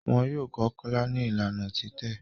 Wón yọ kò Kola ní Ìlànà titẹ